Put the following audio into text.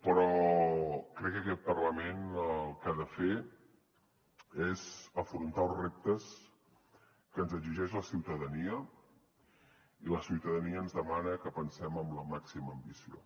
però crec que aquest parlament el que ha de fer és afrontar els reptes que ens exigeix la ciutadania i la ciutadania ens demana que pensem amb la màxima ambició